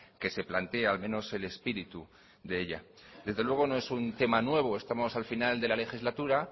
que se plantea al menos el espíritu de ella desde luego no es un tema nuevo estamos al final de la legislatura